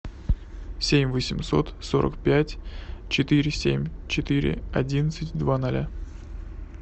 семь восемьсот сорок пять четыре семь четыре одиннадцать два ноля